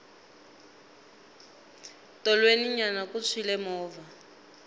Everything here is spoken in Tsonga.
tolweni nyana ku tshwile movha